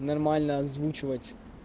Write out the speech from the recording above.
нормально озвучивать